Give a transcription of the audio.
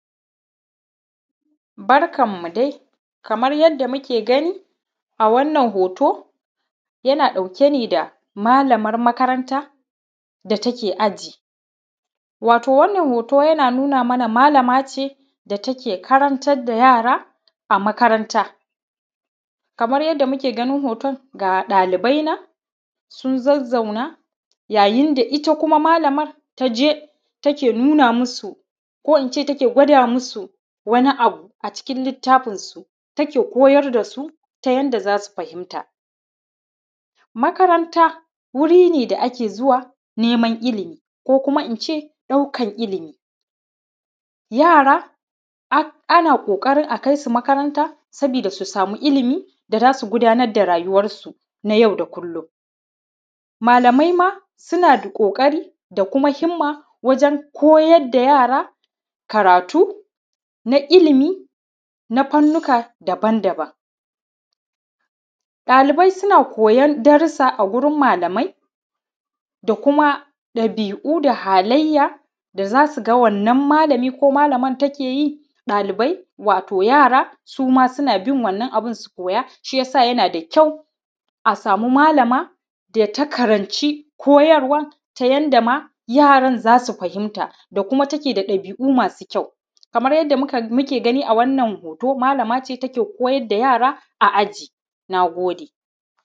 Barkanmu dai kamar yadda muke gani a wannan hoto yana ɗauke da malamar makaranta da take aji. Wato wannan hoto yana nuna malama ce da take karantar da yara a makaranta. Kamar yadda muke ganin hoto ga ɗalibai na sun zazzauna ga ɗalibai nan sun zazzauna yayin da ita malamar ta je take nuna musu ko in ce take gwada musu wani abu a cikin littafinsu take koyar da su ta yadda za su fahimta. Makaranta wuri ne da ake zuwa nema. Ilimi ko in ce ɗaukar ilimin. Yara ana ƙoƙarin a kai su makaranta sabida su sama ilmi da za su gudanar da rayuwarsu na yau da kullum malamai ma suna da ƙoƙari da kuma himma waje koyar da yara karatu na ilmi na fannuka daban -daban. Ɗalibai suna koyan darrusa a gurin malamai da kuma ɗabi'u da halayya na wannan malami ko malaman take yi su ma suna bin wannan abun su koya. Shi ya sa yana da ƙyau a sama malama da ta karanci koyarwa ta yadda ma yaron fahimta da kuma take da ɗabi'u masu ƙyau. Kamar yadda muke gani Wannan hoto malama ce take koyar da yara a aji. Na gode.